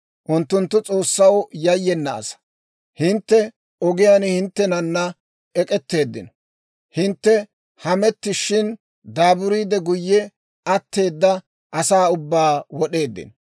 Unttunttu S'oossaw yayyena asaa; hintte ogiyaan hinttenana ek'etteeddino. Hintte hemettishin, daaburiide guyye atteeda asaa ubbaa wod'eeddino.